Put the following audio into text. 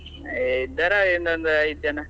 ಇದ್ದಾರ ಇನ್ನೊಂದು ಐದು ಜನ.